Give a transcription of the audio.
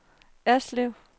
Erslev